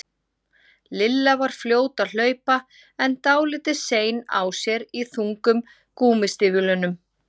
Lilla var fljót að hlaupa en dálítið sein á sér í þungum gúmmístígvélunum.